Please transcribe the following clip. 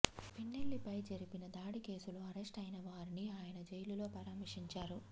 పిన్నెల్లి పై జరిపిన దాడి కేసులో అరెస్టు అయిన వారిని ఆయన జైలులో పరామర్శించారు